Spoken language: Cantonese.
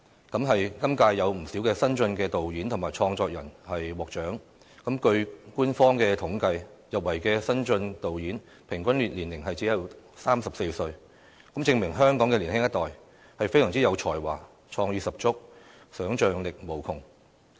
今屆有不少新晉導演和創作人獲獎，據官方統計，入圍的新晉導演平均年齡只有34歲，證明香港的年輕一代，是非常有才華、創意十足、想象力無窮。